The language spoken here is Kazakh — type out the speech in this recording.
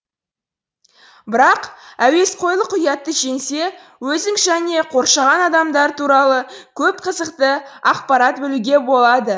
бірақ әуесқойлық ұятты жеңсе өзің және қоршаған адамдар туралы көп қызықты ақпарат білуге болады